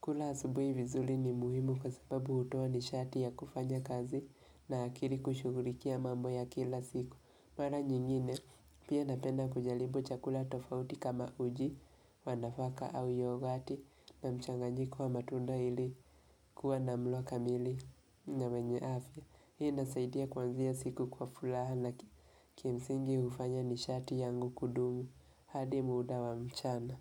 Kula asubuhi vizuli ni muhimu kwa sababu hutoa nishati ya kufanya kazi na akili kushugulikia mambo ya kila siku. Mara nyingine pia napenda kujalibu chakula tofauti kama uji wa nafaka au yogati na mchanganyiko wa matunda ili kuwa na mlo kamili na wenye afya. Hii nasaidia kuanzia siku kwa fulaha na kimsingi hufanya nishati yangu kudumu hadi muda wa mchana.